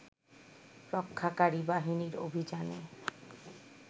রক্ষাকারী বাহিনীর অভিযানে